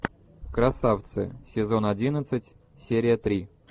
красавцы сезон одиннадцать серия три